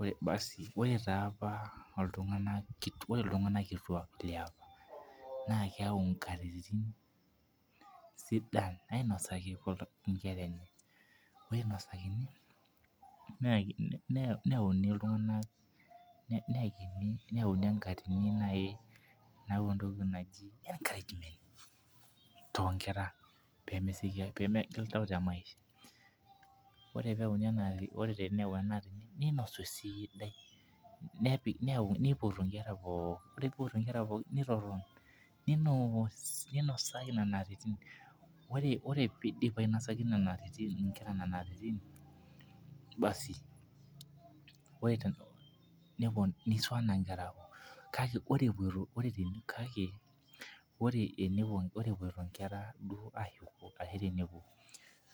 Ore tiapa oltungana kituak, ore ltungana kituak liapa, naa keyau inkatini sidan iinosaki inkera enye, ainosaki neyauni iltunganak neekini, neyauni enkatini neau entoki naji encouragement too inkera peemegil iltau te imaisha, ore peeyauni, ore teneyau ena atini neinosu siidai, nepik neyau, neipotu inkera pooki, ore peipotu inkera pooki neinosaki nena nkatitin, ore peidim ainosaki nena atitin inkera nena atitin, basi neisuwaa inkera naa apuo kake ore epuoto, ore epuoto duo inkera aayeok,